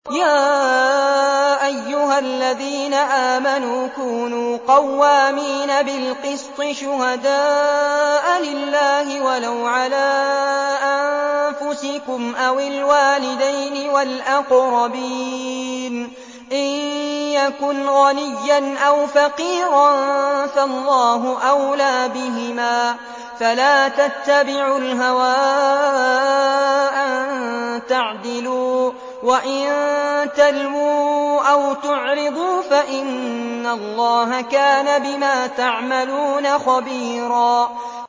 ۞ يَا أَيُّهَا الَّذِينَ آمَنُوا كُونُوا قَوَّامِينَ بِالْقِسْطِ شُهَدَاءَ لِلَّهِ وَلَوْ عَلَىٰ أَنفُسِكُمْ أَوِ الْوَالِدَيْنِ وَالْأَقْرَبِينَ ۚ إِن يَكُنْ غَنِيًّا أَوْ فَقِيرًا فَاللَّهُ أَوْلَىٰ بِهِمَا ۖ فَلَا تَتَّبِعُوا الْهَوَىٰ أَن تَعْدِلُوا ۚ وَإِن تَلْوُوا أَوْ تُعْرِضُوا فَإِنَّ اللَّهَ كَانَ بِمَا تَعْمَلُونَ خَبِيرًا